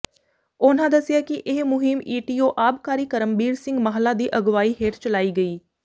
ਉਨ੍ਹਾਂ ਦੱਸਿਆ ਕਿ ਇਹ ਮੁਹਿੰਮ ਈਟੀਓ ਆਬਕਾਰੀ ਕਰਮਬੀਰ ਸਿੰਘ ਮਾਹਲਾ ਦੀ ਅਗਵਾਈ ਹੇਠ ਚਲਾਈ ਗਈ